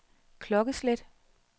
klokkeslæt